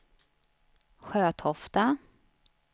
Sjötofta